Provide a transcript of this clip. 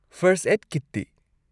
First aid ꯀꯤꯠꯇꯤ?